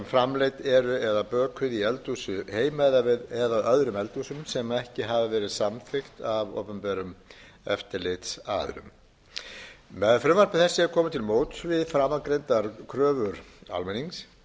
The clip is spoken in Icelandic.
framreidd eru eða bökuð í eldhúsum heima við eða öðrum eldhúsum sem ekki hafa verið samþykkt af opinberum eftirlitsaðilum með frumvarpi þessu er komið til móts við framangreindar kröfur almennings